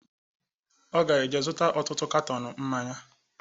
Ọ ga eje zụta ọtụtụ katọọnu mmanya